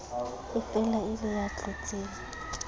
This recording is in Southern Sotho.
efela e le ya tlotseng